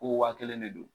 Ko waa kelen de don